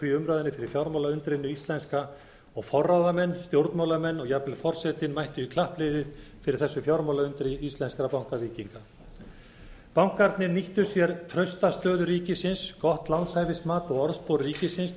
umræðunni fyrir fjármálaundrinu íslenska og forráðamenn stjórnmálamenn og jafnvel forsetinn mættu klappliðið fyrir þessu fjármálaundri íslenskra bankavíkinga bankarnir nýttu sér fasta stöðu ríkisins gott lánshæfismat og orðspor ríkisins